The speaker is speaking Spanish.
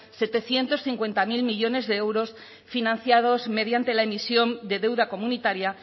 setecientos cincuenta mil millónes de euros financiados mediante la emisión de deuda comunitaria